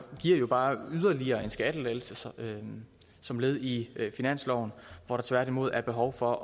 jo bare yderligere en skattelettelse som led i finansloven hvor der tværtimod er behov for